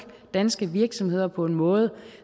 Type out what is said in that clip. danske virksomheder på en måde